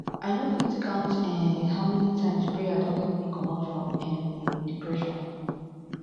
i no fit count um how many times prayer don help me comot from um depression